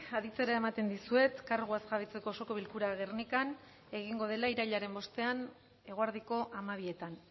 aditzera ematen dizuet karguaz jabetzeko osoko bilkura gernikan egingo dela irailaren bostean eguerdiko hamabietan